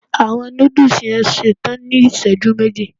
Awọn nudus yoo ṣetan ni iṣẹju meji